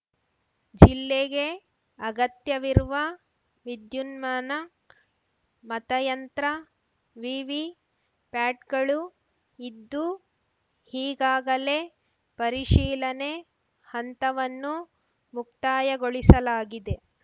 ಜಿಲ್ಲೆಗೆ ಅಗತ್ಯವಿರುವ ವಿದ್ಯುನ್ಮಾನ ಮತಯಂತ್ರ ವಿವಿ ಪ್ಯಾಟ್‌ಗಳು ಇದ್ದು ಈಗಾಗಲೇ ಪರಿಶೀಲನೆ ಹಂತವನ್ನು ಮುಕ್ತಾಯಗೊಳಿಸಲಾಗಿದೆ